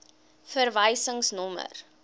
verwysingsnommer